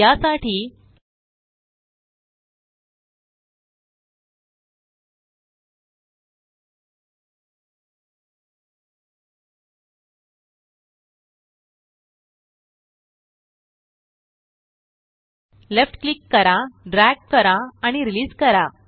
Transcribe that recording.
यासाठी left click करा drag करा आणि रिलीस करा